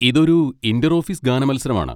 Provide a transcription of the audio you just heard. ഇതൊരു inter office ഗാന മത്സരമാണ്.